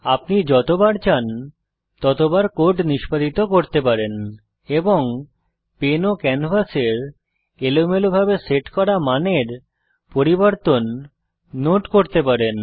আপনি যতবার চান ততবার কোড নিষ্পাদিত করতে পারেন এবং পেন ও ক্যানভাসের এলোমেলোভাবে সেট করা মানের পরিবর্তন নোট করতে পারেন